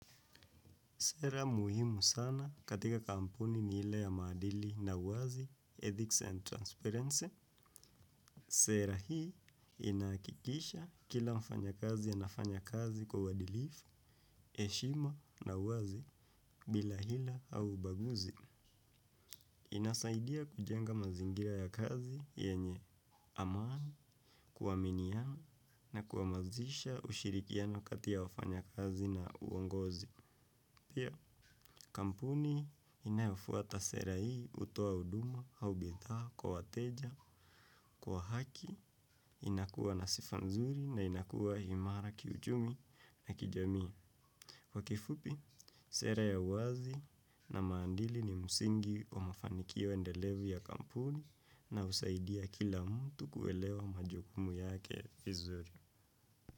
Sera muhimu sana katika kampuni ni ile ya maadili na uwazi, ethics and transparency. Sera hii inahakikisha kila mfanya kazi anafanya kazi kwa uadilifu, heshima na uwazi bila hila au ubaguzi. Inasaidia kujenga mazingira ya kazi yenye aman, kuwaminiana na kuamazisha ushirikiano kati ya wafanyakazi na uongozi. Pia kampuni inayofuata sera hii hutoa huduma au bidhaa kwa wateja, kwa haki, inakuwa na sifa nzuri na inakuwa himara kiuchumi na kijami. Kwa kifupi, sera ya uwazi na maandili ni msingi wa mafanikio endelevu ya kampuni na husaidia kila mtu kuelewa majukumu yake vizuri.